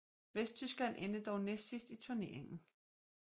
Vesttyskland endte dog næstsidst i turneringen